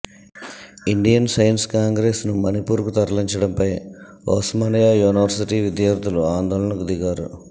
Indian Science కాంగ్రెస్ను మణిపూర్కు తరలించడంపై ఉస్మానియా యూనివర్సిటీ విద్యార్ధులు ఆందోళనకు దిగారు